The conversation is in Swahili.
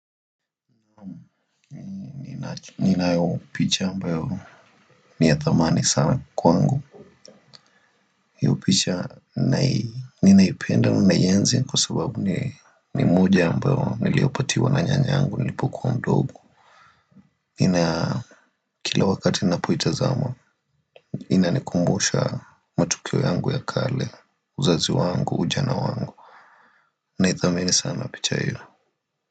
Ninayo picha ambayo ni ya thamani sana kwa wangu hiyo picha ninaipenda ninaienzi kwa sababu ni moja ambayo niliopatiwa na nyanyangu nilipokuwa ndogo. Kila wakati ninapoitazama inanikumbusha matukio yangu ya kale, uzazi wangu, ujana wangu. Naithamini sana picha hiyo.